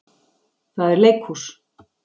Það er leikhús.